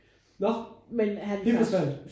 Når det forsvandt?